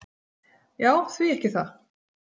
"""Já, því ekki það."""